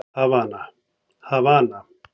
Havana